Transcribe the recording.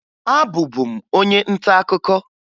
Abụbu m onye ntaakụkọ